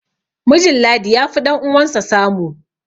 mijin ladi ya fi ɗan'uwansa samu